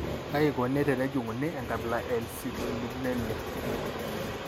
Kaji eikoni tenejung'uni enkabila e I eCitrullinemia?